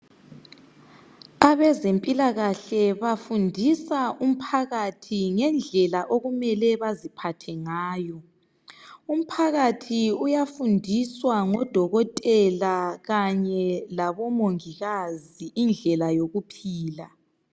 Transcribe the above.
Abezempiakahle bafundisa umphakathi ngendlela okumele baziphathe ngayo. Umphakathi uyafundiswa ngodokotela kanye labomongikazi indlela yokuphila.